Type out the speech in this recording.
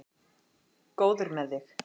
Góður með þig.